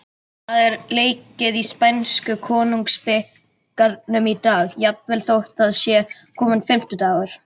Það er leikið í spænsku Konungsbikarnum í dag, jafnvel þótt það sé kominn fimmtudagur.